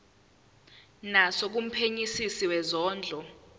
naso kumphenyisisi wezondlo